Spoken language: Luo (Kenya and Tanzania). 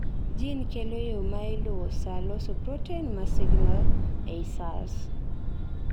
gene kelo yooo mailuwo saa loso protein maa signal ei cells